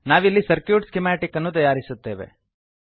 ನಾವಿಲ್ಲಿ circuit schematics ಅನ್ನು ತಯಾರಿಸುತ್ತೇವೆ